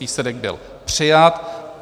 Výsledek byl přijat.